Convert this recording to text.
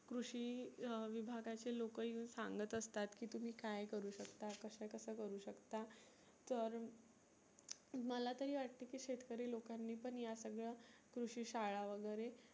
कृषी अं विभागाचे लोक येऊन सांगत असतात की तुम्ही काय करु शकता कसं कसं करु शकता. तर मला तरी वाटत की शेतकरी लोकांनी पण या सगळ कृषी शाळा वगैरे